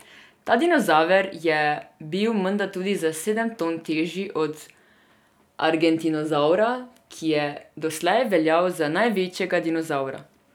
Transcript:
Ta dinozaver je bil menda tudi za sedem ton težji od argentinozavra, ki je doslej veljal za največjega dinozavra.